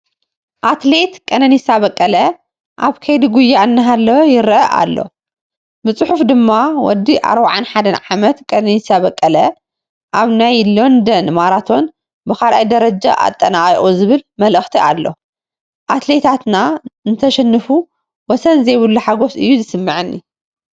ኣትሌት ቀነኒሳ በቀለ ኣብ ከይዲ ጉያ እናሃለወ ይርአ ኣሎ፡፡ ብፅሑፍ ድማ ወዲ 41 ዓመት ቀነኒሳ በቀለ ኣብ ናይ ሎንደን ማራቶን ብ2ይ ደረጃ ኣጠናቒቑ ዝብል መልእኽቲ ኣሎ፡፡ ኣትሌታትና እንተሽንፉ ወሰን ዘይብሉ ሓጐስ እዩ ዝስምዐኒ፡፡